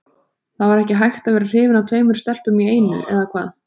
Það var ekki hægt að vera hrifinn af tveimur stelpum í einu, eða hvað?